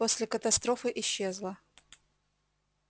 после катастрофы исчезла